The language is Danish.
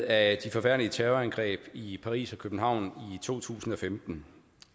af de forfærdelige terrorangreb i paris og københavn i to tusind og femten